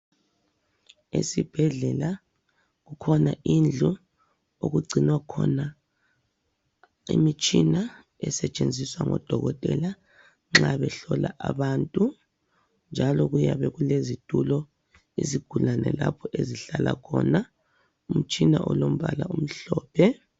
Esibhedlela kukhona indlu okugcinwa khona imitshina esetshenziswa ngodokotela nxa behlola abantu, njalo kuyabe kulezitulo izigulane lapho ezihlala khona. Umtshina olombala omhlophe.